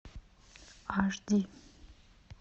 аш ди